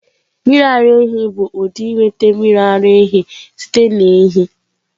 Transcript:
Mmiri ara ehi bụ ụdị ịnweta mmiri ara ehi site na ehi.